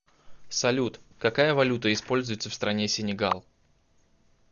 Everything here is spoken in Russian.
салют какая валюта используется в стране сенегал